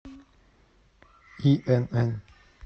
инн